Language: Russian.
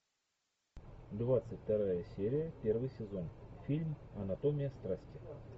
двадцать вторая серия первый сезон фильм анатомия страсти